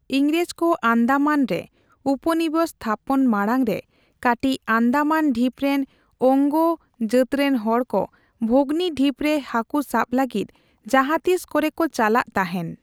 ᱤᱝᱨᱮᱡ ᱠᱚ ᱟᱱᱫᱟᱢᱟᱱ ᱨᱮ ᱩᱯᱚᱱᱤᱵᱚᱥ ᱛᱷᱟᱯᱚᱱ ᱢᱟᱲᱟᱝ ᱨᱮ ᱠᱟᱹᱴᱤᱡ ᱟᱱᱫᱟᱢᱟᱱ ᱰᱷᱤᱯ ᱨᱮᱱ ᱳᱝᱜᱮ ᱡᱟᱹᱛᱨᱮᱱ ᱦᱚᱲ ᱠᱚ ᱵᱷᱚᱜᱚᱱᱤ ᱰᱷᱤᱯ ᱨᱮ ᱦᱟᱹᱠᱩ ᱥᱟᱵ ᱞᱟᱹᱜᱤᱫ ᱡᱟᱦᱟᱸᱛᱤᱥ ᱠᱚᱨᱮᱠᱚ ᱪᱟᱞᱟᱜ ᱛᱟᱦᱮᱱ ᱾